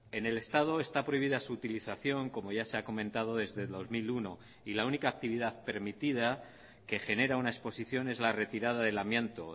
en el estado está prohibida su utilización como ya se ha comentado desde dos mil uno y la única actividad permitida que genera una exposición es la retirada del amianto